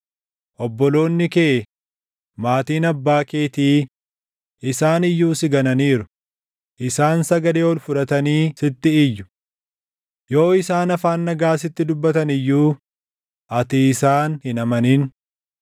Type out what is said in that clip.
Obboloonni kee, maatiin abbaa keetii, isaan iyyuu si gananiiru; isaan sagalee ol fudhatanii sitti iyyu. Yoo isaan afaan nagaa sitti dubbatan iyyuu, ati isaan hin amanin.